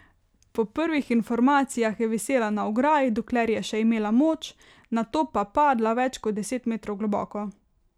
Po prvih informacijah je visela na ograji, dokler je še imela moč, nato pa padla več kot deset metrov globoko.